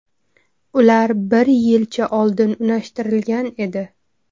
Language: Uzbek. Ular bir yilcha oldin unashtirilgan edi.